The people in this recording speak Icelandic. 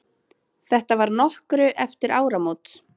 Þetta var nokkru eftir áramót.